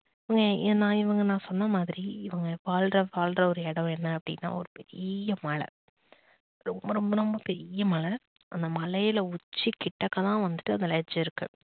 இவங்க நான் இவங்க நான் சொன்ன மாதிரி இவங்க வாழ்ற வாழ்ற ஒரு இடம் என்ன அப்படின்னா ஒரு பெரிய மலை ரொம்ப ரொம்ப ரொம்ப பெரிய மலை அந்த மலைல உச்சி கிட்ட எல்லாம் வந்துட்டு அந்த ledge இருக்கு